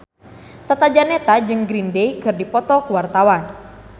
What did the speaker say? Tata Janeta jeung Green Day keur dipoto ku wartawan